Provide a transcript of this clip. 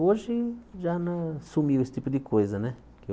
Hoje já não sumiu esse tipo de coisa, né?